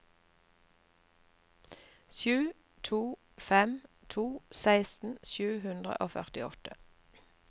sju to fem to seksten sju hundre og førtiåtte